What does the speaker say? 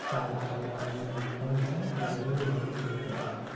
સારું સારું તમે next time જાવ તો જરૂર જરૂર થી કહજો